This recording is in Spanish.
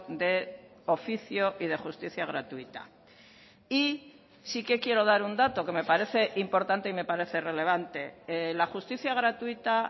de oficio y de justicia gratuita y sí que quiero dar un dato que me parece importante y me parece relevante la justicia gratuita